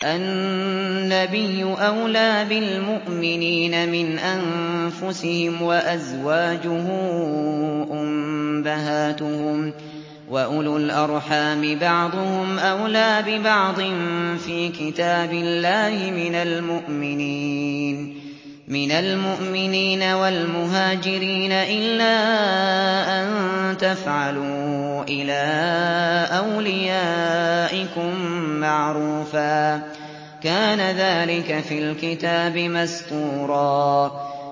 النَّبِيُّ أَوْلَىٰ بِالْمُؤْمِنِينَ مِنْ أَنفُسِهِمْ ۖ وَأَزْوَاجُهُ أُمَّهَاتُهُمْ ۗ وَأُولُو الْأَرْحَامِ بَعْضُهُمْ أَوْلَىٰ بِبَعْضٍ فِي كِتَابِ اللَّهِ مِنَ الْمُؤْمِنِينَ وَالْمُهَاجِرِينَ إِلَّا أَن تَفْعَلُوا إِلَىٰ أَوْلِيَائِكُم مَّعْرُوفًا ۚ كَانَ ذَٰلِكَ فِي الْكِتَابِ مَسْطُورًا